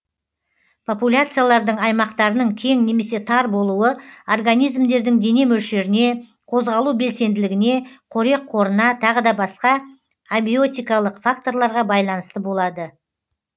популяциялардың аймақтарының кең немесе тар болуы организмдердің дене мөлшеріне қозғалу белсенділігіне қорек қорына тағы да басқа абиотикалық факторларға байланысты болады